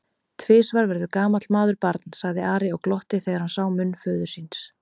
Tvisvar verður gamall maður barn, sagði Ari og glotti þegar hann sá munn föður síns.